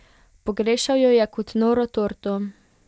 Pogrešal jo je kot noro torto.